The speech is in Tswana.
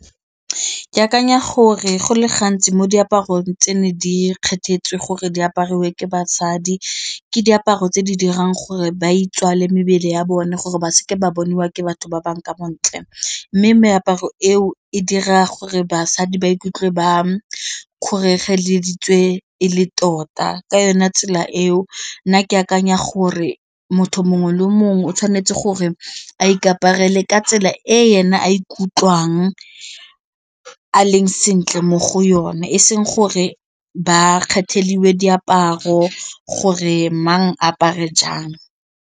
Ke akanya gore go le gantsi mo diaparong tse ne di kgethetsewe gore di apariwang ke basadi ke diaparo tse di dirang gore ba itswale mebele ya bone gore ba se ke ba boniwa ke batho ba bangwe ka bontle, mme meaparo eo e dira gore basadi ba ikutlwe ba kgoregeleditswe e le tota ka yone tsela eo nna ke akanya gore motho mongwe le mongwe o tshwanetse gore a ikaperele ka tsela e ena a ikutlwang a leng sentle mo go yone e seng gore ba diaparo gore mang apare jang.